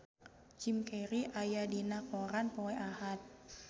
Jim Carey aya dina koran poe Ahad